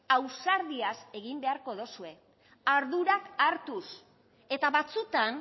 ausardiaz egin beharko dozue ardurak hartuz eta batzuetan